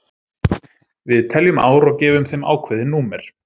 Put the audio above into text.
við teljum ár og gefum þeim ákveðin númer